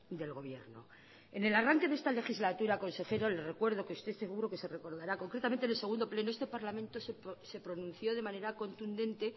del gobierno en el arranque de esta legislatura consejero le recuerdo que usted seguro que lo recordará concretamente en el segundo pleno este parlamento se pronunció de manera contundente